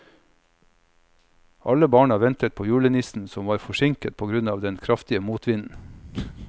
Alle barna ventet på julenissen, som var forsinket på grunn av den kraftige motvinden.